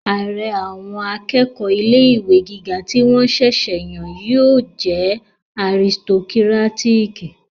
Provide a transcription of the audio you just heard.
Ààrẹ àwọn akẹ́kọ̀ọ́ ilé-ìwé gíga tí wọ́n ṣẹ̀sẹ̀ yàn náà yóò jẹ́ aristokírátíkì